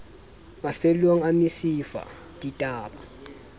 mafellong a mesifa di ba